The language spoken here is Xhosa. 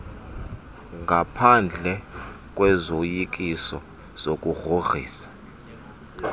ngaphendle kwezoyikiso zokugrogriswa